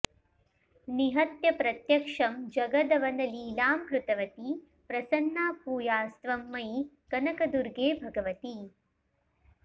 निहत्य प्रत्यक्षं जगदवनलीलां कृतवती प्रसन्ना भूयास्त्वं मयि कनकदुर्गे भगवति